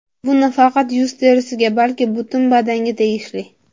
Bu nafaqat yuz terisiga, balki butun badanga tegishli.